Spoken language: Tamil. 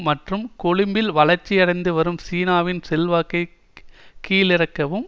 மற்றும் கொழும்பில் வளர்ச்சியடைந்து வரும் சீனாவின் செல்வாக்கை கீழறுக்கவும்